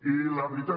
i la veritat